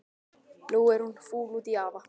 Nú er hún fúl út í afa.